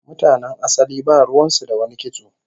Mutanen asali ba ruwan su da wani kitso